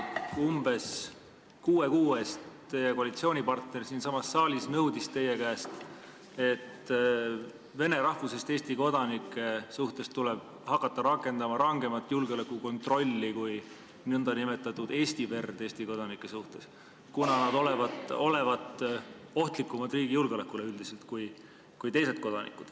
Umbes kuue kuu eest nõudis teie koalitsioonipartner siinsamas saalis teie käest, et vene rahvusest Eesti kodanike suhtes tuleb hakata rakendama rangemat julgeolekukontrolli kui nn eesti verd Eesti kodanike suhtes, kuna nad olevat riigi julgeolekule üldiselt ohtlikumad kui teised kodanikud.